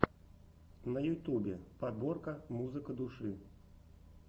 на ютубе подборка музыка души